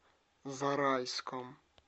зарайском